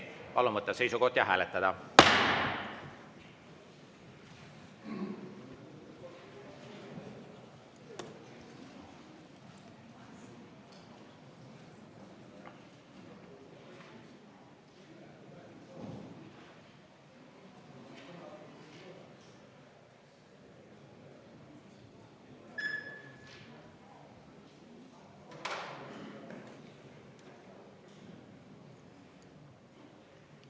Palun võtta seisukoht ja hääletada!